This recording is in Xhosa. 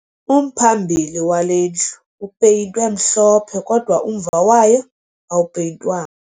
Umphambili wale ndlu upeyintwe mhlophe kodwa umva wayo awupeyintwanga